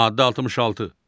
Maddə 66.